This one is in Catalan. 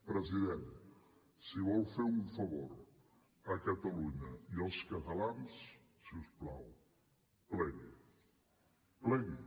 president si vol fer un favor a catalunya i als catalans si us plau plegui plegui